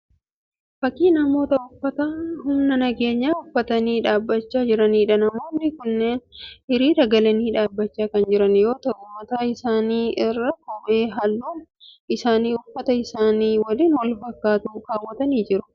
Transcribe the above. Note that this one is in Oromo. Fakkii namoota uffata humna nageenyaa uffatanii dhaabbachaa jiraniidha. Namoonni kunneen hiriira galanii dhaabbachaa kan jiran yoo ta'u mataa isaanii irraa kephee halluun isaanii uffata isaanii waliin wal fakkaatu kaawwatanii jiru.